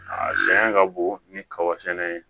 A sɛgɛn ka bon ni kaba sɛnɛ ye